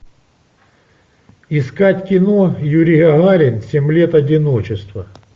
искать кино юрий гагарин семь лет одиночества